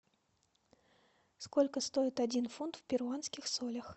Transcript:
сколько стоит один фунт в перуанских солях